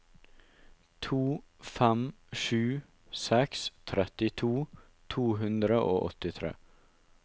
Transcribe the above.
to fem sju seks trettito to hundre og åttitre